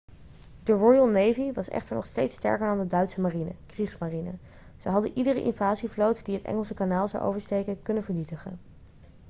de royal navy was echter nog steeds sterker dan de duitse marine 'kriegsmarine'. ze hadden iedere invasievloot die het engelse kanaal zou oversteken kunnen vernietigen